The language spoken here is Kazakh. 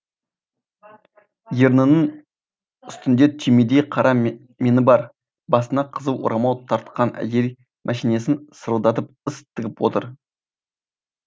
ернінің үстінде түймедей қара меңі бар басына қызыл орамал тартқан әйел мәшинесін сырылдатып іс тігіп отыр